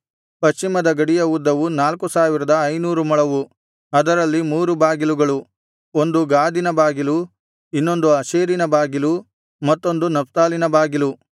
ಪಶ್ಚಿಮದ ಗಡಿಯ ಉದ್ದವು ನಾಲ್ಕು ಸಾವಿರದ ಐನೂರು ಮೊಳವು ಅದರಲ್ಲಿ ಮೂರು ಬಾಗಿಲುಗಳು ಒಂದು ಗಾದಿನ ಬಾಗಿಲು ಇನ್ನೊಂದು ಆಶೇರಿನ ಬಾಗಿಲು ಮತ್ತೊಂದು ನಫ್ತಾಲಿನ ಬಾಗಿಲು